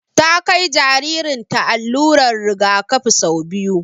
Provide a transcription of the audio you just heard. Ta kai jaririn ta allurar rigakafi sau biyu